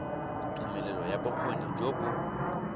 tumelelo ya bokgoni jo bo